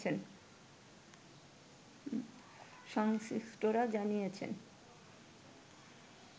সংশ্লিষ্টরা জানিয়েছেন